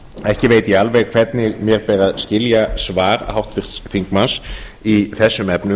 ekki veit ég alveg hvernig mér ber að skilja svar háttvirts þingmanns í þessum efnum